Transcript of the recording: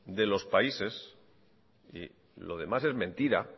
de los países y lo demás es mentira